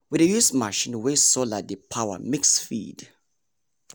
we dey use machine wey solar dey power mix feed.